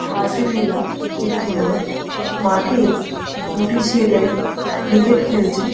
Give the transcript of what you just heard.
ঘাসে মেলা একটি মাঠ। মাঠে দুটি ছেলে ক্রিকেট খেলছে।